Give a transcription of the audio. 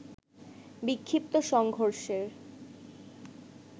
বিক্ষিপ্ত সংঘর্ষের